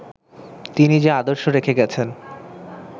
তিনি যে আদর্শ রেখে গেছেন